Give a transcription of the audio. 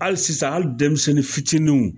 Hali sisan hali denmisɛnnin fitininw